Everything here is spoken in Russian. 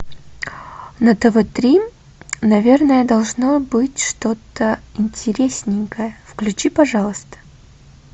на тв три наверное должно быть что то интересненькое включи пожалуйста